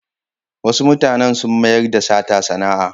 Wasu mutanen sun mayar da sata sana'a.